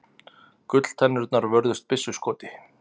Gulltennurnar vörðust byssuskoti